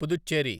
Puducherry